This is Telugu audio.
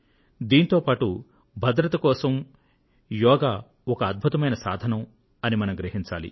దీంతో పాటు భద్రత కోసం యోగం ఒక అద్భుతమైన సాధనం అని మనం గ్రహించాలి